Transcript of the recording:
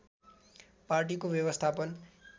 पार्टीको व्यवस्थापन